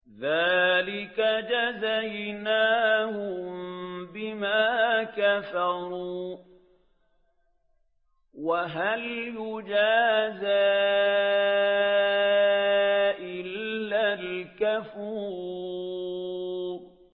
ذَٰلِكَ جَزَيْنَاهُم بِمَا كَفَرُوا ۖ وَهَلْ نُجَازِي إِلَّا الْكَفُورَ